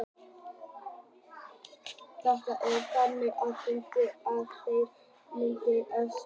Þetta var tjáning þeirra, á fundunum á kvöldin, þeirra hressustu, myndi ég segja.